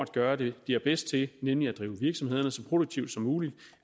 gøre det de er bedst til nemlig at drive virksomhederne så produktivt som muligt